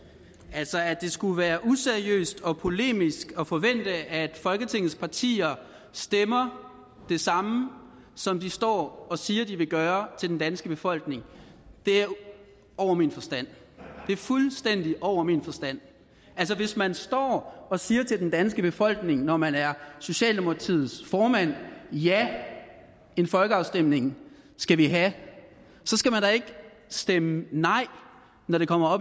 altså at det skulle være useriøst og polemisk at forvente at folketingets partier stemmer det samme som de står og siger at de vil gøre til den danske befolkning er over min forstand det er fuldstændig over min forstand altså hvis man står og siger til den danske befolkning når man er socialdemokratiets formand at ja en folkeafstemning skal vi have så skal man da ikke stemme nej når det kommer op